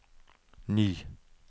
ny